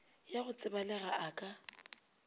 ya go tsebalega a ka